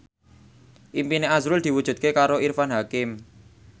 impine azrul diwujudke karo Irfan Hakim